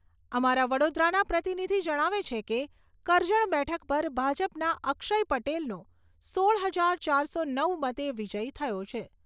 અમારા વડોદરાના પ્રતિનિધિ જણાવે છે કે, કરજણ બેઠક પર ભાજપના અક્ષય પટેલનો સોળ હજાર ચારસો નવ મતે વિજય થયો છે.